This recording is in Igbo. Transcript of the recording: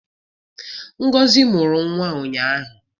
Ngozi mụrụ nwa ụnyahụ